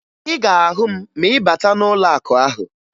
Ị ga-ahụ m ma ị bata n'ụlọakụ ahụ